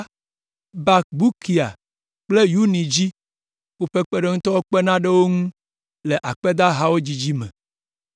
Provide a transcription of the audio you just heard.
Bakbukia kple Uni dzi; woƒe kpeɖeŋutɔwo kpena ɖe wo ŋu le akpedahawo dzidzi me.